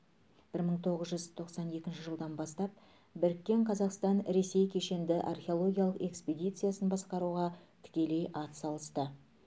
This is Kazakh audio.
бір мың тоғыз жүз тоқсан екінші жылдан бастап біріккен казақстан ресей кешенді археологиялық экспедициясын басқаруға тікелей ат салысты